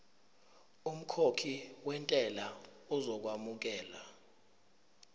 umkhokhi wentela uzokwamukelwa